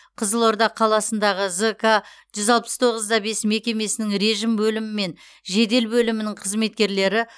қызылорда қаласындағы зк жүз алпыс тоғыз да бес мекемесінің режім бөлімі мен жедел бөлімінің қызметкерлері